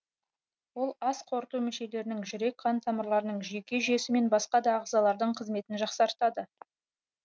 ол ас қорыту мүшелерінің жүрек қан тамырларының жүйке жүйесі мен басқа да ағзалардың қызметін жақсартады